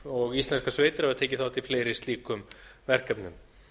og íslenskar sveitir hafa tekið þátt í fleiri slíkum verkefnum